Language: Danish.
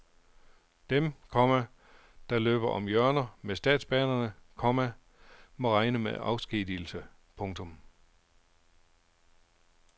Dem, komma der løber om hjørner med statsbanerne, komma må regne med afskedigelse. punktum